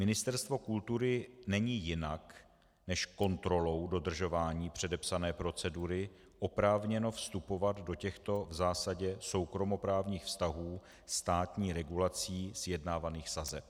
Ministerstvo kultury není jinak než kontrolou dodržování předepsané procedury oprávněno vstupovat do těchto v zásadě soukromoprávních vztahů státní regulací sjednávaných sazeb.